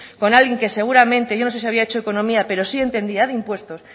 con alguien que seguramente yo no sé si había hecho economía pero sí entendía de impuestos